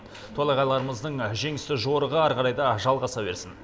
толағайларымыздың жеңісті жорығы ары қарай да жалғаса берсін